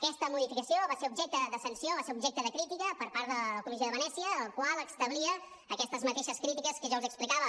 aquesta modificació va ser objecte de sanció va ser objecte de crítica per part de la comissió de venècia la qual establia aquestes mateixes crítiques que jo els explicava